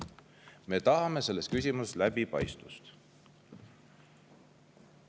Me tahame selles küsimuses läbipaistvust!